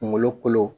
Kunkolo kolo